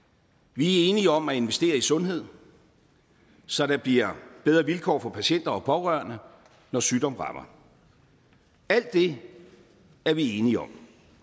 vi er enige om at investere i sundhed så der bliver bedre vilkår for patienter og pårørende når sygdom rammer alt det er vi enige om